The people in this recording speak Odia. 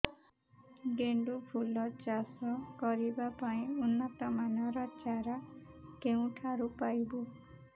ଗେଣ୍ଡୁ ଫୁଲ ଚାଷ କରିବା ପାଇଁ ଉନ୍ନତ ମାନର ଚାରା କେଉଁଠାରୁ ପାଇବୁ